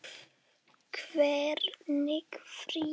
Hvernig frí.